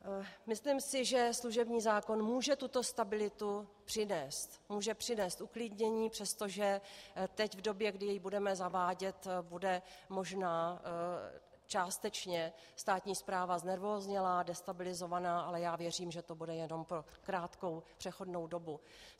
Myslím si, že služební zákon může tuto stabilitu přinést, může přinést uklidnění, přestože teď, v době, kdy jej budeme zavádět, bude možná částečně státní správa znervóznělá, destabilizovaná, ale já věřím, že to bude jenom po krátkou přechodnou dobu.